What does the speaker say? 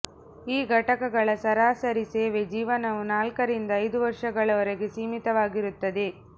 ಈ ಘಟಕಗಳ ಸರಾಸರಿ ಸೇವೆ ಜೀವನವು ನಾಲ್ಕರಿಂದ ಐದು ವರ್ಷಗಳವರೆಗೆ ಸೀಮಿತವಾಗಿರುತ್ತದೆ